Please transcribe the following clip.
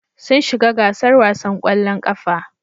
Sun shiga gasar wasan ƙwallon ƙafa.